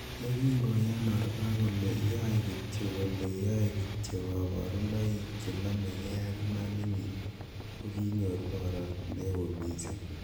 Yekin koya oprah kole yoe kityok kole'yoe kityok koborunoik che nome key ak imaninyin,''ko kinyor borot neo missing.